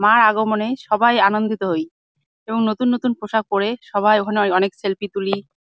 মার আগমনে সবাই আনন্দিত হই এবং নতুন নতুন পোশাক পরে সবাই ওখানে অ- অনেক সেলফি তুলি--